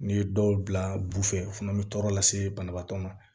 N'i ye dɔw bila bufɛ o fana bɛ tɔɔrɔ lase banabaatɔ ma